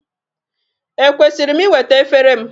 Ekwesịrị m iweta efere m?